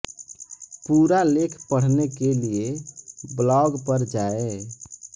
पूरा लेख पढ़ने के लिए ब्लॉग पर जाएं